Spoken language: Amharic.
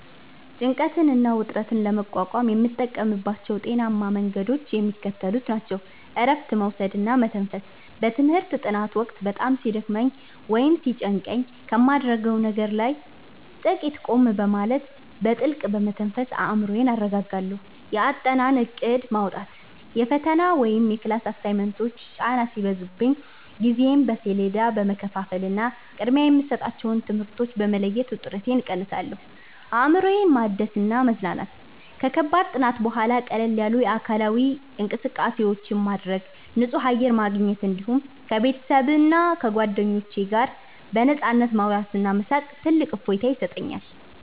ጭንቀትና ውጥረትን ለመቋቋም የምጠቀምባቸው ጤናማ መንገዶች የሚከተሉት ናቸው፦ እረፍት መውሰድና መተንፈስ፦ በትምህርት ጥናት ወቅት በጣም ሲደክመኝ ወይም ሲጨንቀኝ ከማደርገው ነገር ላይ ጥቂት ቆም በማለት፣ በጥልቀት በመተንፈስ አእምሮዬን አረጋጋለሁ። የአጠናን እቅድ ማውጣት፦ የፈተና ወይም የክላስ አሳይመንቶች ጫና ሲበዙብኝ ጊዜዬን በሰሌዳ በመከፋፈልና ቅድሚያ የሚሰጣቸውን ትምህርቶች በመለየት ውጥረቴን እቀንሳለሁ። አእምሮን ማደስና መዝናናት፦ ከከባድ ጥናት በኋላ ቀለል ያሉ አካላዊ እንቅስቃሴዎችን ማድረግ፣ ንጹህ አየር ማግኘት፣ እንዲሁም ከቤተሰብና ከጓደኞች ጋር በነፃነት ማውራትና መሳቅ ትልቅ እፎይታ ይሰጠኛል።